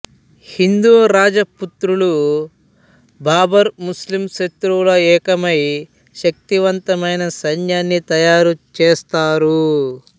హిందూ రాజపుత్రులు బాబర్ ముస్లిం శత్రువులు ఏకమై శక్తివంతమైన సైన్యాన్ని తయారుచేసారు